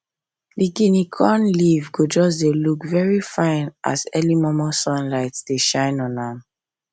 the guinea corn leave go just dey look very fine as early momo sunlight dey shine on am